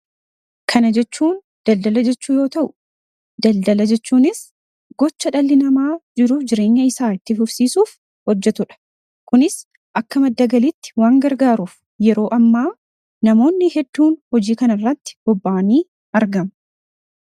Kana jechuun daldaala jechuu yoota'u; Daldala jechuunis gocha dhalli namaa jiruufi jireenya isaa itti fufsiisuuf hojjetudha. Kunis akka madda galiitti waan gargaaruuf yeroo ammaa namoonni hedduun hojii kana irratti bobba'anii argamu.